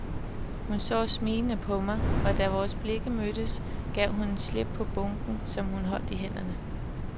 Hun så smilende på mig, og da vores blikke mødtes, gav hun slip på bunken, som hun holdt i hænderne.